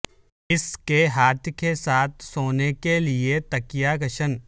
اس کے ہاتھ کے ساتھ سونے کے لئے تکیا کشن